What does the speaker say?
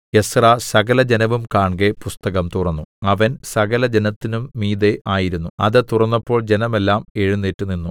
Ezra സകലജനവും കാൺകെ പുസ്തകം തുറന്നു അവൻ സകലജനത്തിനും മീതെ ആയിരുന്നു അത് തുറന്നപ്പോൾ ജനമെല്ലാം എഴുന്നേറ്റുനിന്നു